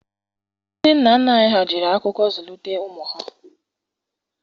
Ndị nna nna anyị ha jiri akụkọ zulitere ụmụ ha.